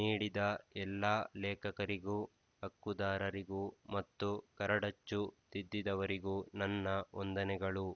ನೀಡಿದ ಎಲ್ಲ ಲೇಖಕರಿಗೂ ಹಕ್ಕುದಾರರಿಗೂ ಮತ್ತು ಕರಡಚ್ಚು ತಿದ್ದಿದವರಿಗೂ ನನ್ನ ವಂದನೆಗಳು